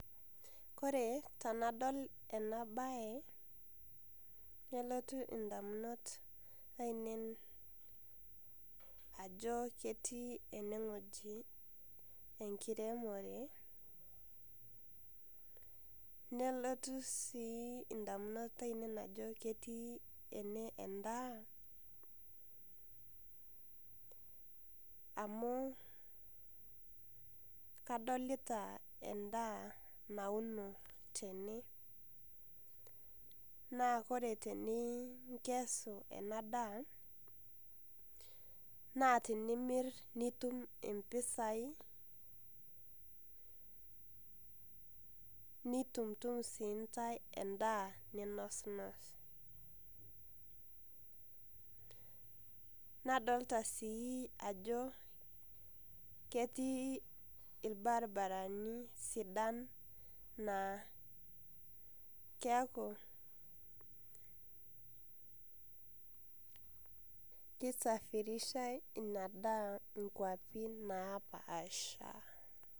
Kore tanadol enabae, nelotu indamunot ainei ajo ketii eneng'oji enkiremore, nelotu si indamunot ainei ajo ketii ene endaa, amu kadolita endaa nauno tene, na ore tenikes enadaa, naa tenimir nitum impisai, nitumtum sindae endaa ninosnos. Nadolta si ajo ketii irbarabarani sidan, naa keeku kisafirishai inadaa inkwapi napaasha.